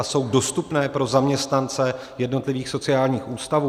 A jsou dostupné pro zaměstnance jednotlivých sociálních ústavů?